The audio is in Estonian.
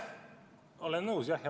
Olen nõus, jah.